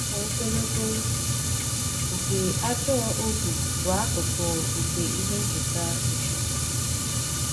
Afọ ogologo nke ajọ ohu bụ akụkụ nke ihe ncheta Joshua.